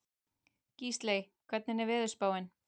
Gísley, hvernig er veðurspáin?